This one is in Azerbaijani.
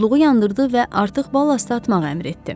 Odluğu yandırdı və artıq bal atmağı əmr etdi.